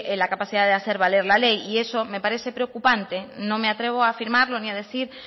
la capacidad de hacer valer la ley y eso me parece preocupante no me atrevo a firmarlo ni a decir